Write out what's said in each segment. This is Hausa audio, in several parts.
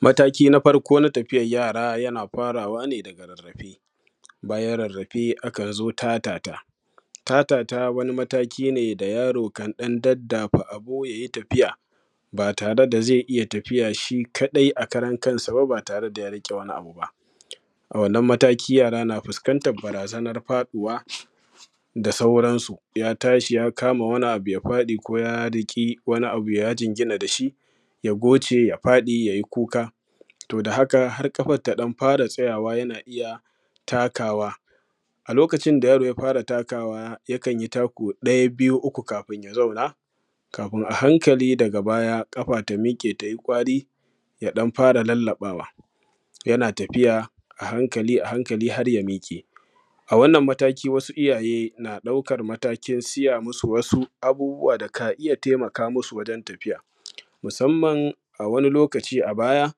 Mataki na farko na tafiyar yara yana farawa ne a rarrafe bayan rarrafe akan zo tatata. Tatata akan zo mataki ne da yaro kan ɗan daddafa abu ya yi tafiya ba yare da zai iya tafiya shi ka dau ba yare da ya riƙe wani abu ba a wannan mataki yara na fuskantar barazanar faɗuwar da sauransu. Ya tashi ya kama wani abu ya faɗi ko ya jingina da shi ya goce ya fada ya yi kuka toh da haka har kafar ta ɗan fara tsayawa yana iya takawa a lokacin inda yaro ya fara takawa yakan yi tako ɗaya biyu uku kafi ya samu ya zauna kafin a hankali daga baya ƙafa ta miƙe tai ƙwari ɗan fara lallaɓawa yana tafiya a hankali a hankali har ya miƙe. A wannan mataki wasu iyaye ɗaukar matakin saya musu wasu abubuwa da ka iya taimaka musu wajen tafiya. Musamman a wani lokaci a baya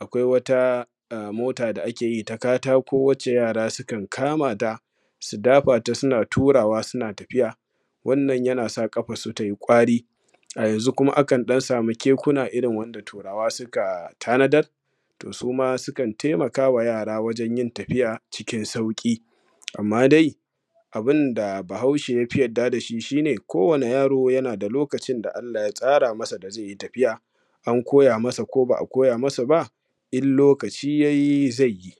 akwai wata mota da ake yi ta katako da ake yi na yara su dafa ta suna yi suna tafiya. Wanna yana sa kafarsu tayi ƙwari. A yanzu kuma akan ɗan sama kekuna wanda turawa suka tanadar to suma sukan taimaka wa yara wajen yin tafiya tai sauƙi. Amma dai abun da bahaushe ya fi yarda da shi shi ne kowanne yaro yana da lokacin da Allah ya tsara masa da zai yi tafiya an koya masa ko ba koya masa ba in lokaci ya yi zai yi.